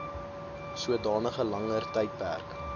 sodanige langer tydperk